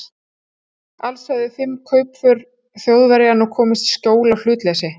Alls höfðu fimm kaupför Þjóðverja nú komist í skjól af hlutleysi